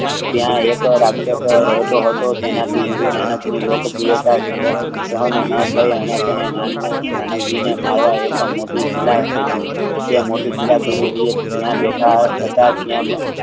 ત્યાં એક વાર અફસફર રહેતો હતો તેનાથી ગુરુ નાનક ને લોક સહન ન્થી અને તેણે માવા માંઢી શીલા ફેંકી તે મિતિ શેલા ગુરુ જીયે જયાબેઠા હતા ત્યાં